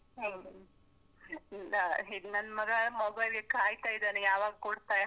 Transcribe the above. ಹು ನ ಈಗ್ ನನ್ನ್ ಮಗ ಮೊಬೈಲಿಗ್‌ ಕಾಯ್ತಾ ಇದಾನೆ ಯಾವಾಗ್ ಕೊಡ್ತಾರೆ.